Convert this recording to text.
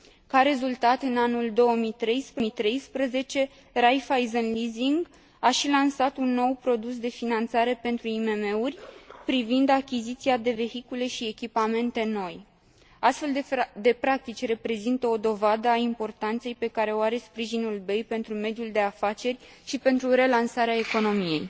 Ca rezultat, în anul 2013, Raiffeisen Leasing a și lansat un nou produs de finanțare pentru IMM uri privind achiziția de vehicule si echipamente noi. Astfel de practici reprezintă o dovadă a importanței pe care o are sprijinul BEI pentru mediul de afaceri și pentru relansarea economiei.